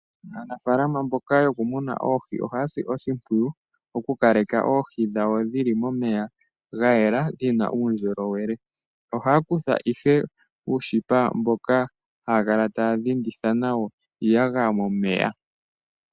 Aanafaalama mboka yokumuna oohi ohaya si oshimpwiyu. Oku kaleka oohi dhawo dhili momeya gayela dhina uundjolowele. Ohaya kutha uushipa mboka haya kala taya dhinditha iiyagaya momeya.